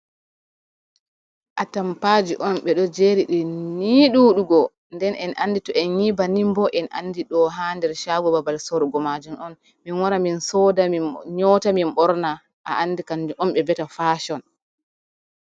Atampaji on ɓeɗo jeridi ni duɗugo. Nden en andi to en yi banin bo en andi ɗo ha nder shago babal sorugo majum on. Min wara min soda, min nyoota, min ɓorna a andi kanjum on ɓe viyata fashion.